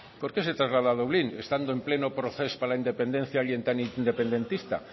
por qué se traslada a dublín estando en pleno procés para la independencia alguien tan independentista